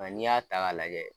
A n'i y'a ta ka lajɛ.